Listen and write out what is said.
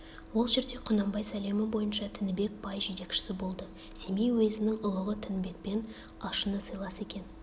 ол жерде құнанбай сәлемі бойынша тінібек бай жетекшісі болды семей уезінің ұлығы тінібекпен ашына сыйлас екен